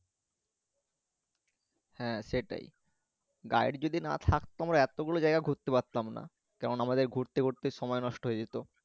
হ্যাঁ সেটাই guide যদি না থাকত আমরা এও গুলো জাইগা ঘুরতে পারতাম না কেননা আমাদের ঘুরতে ঘুরতে সময় নষ্ট হয়ে যেত